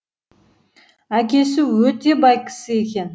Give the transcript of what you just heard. әкесі өте бай кісі екен